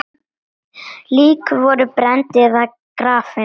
Lík voru brennd eða grafin.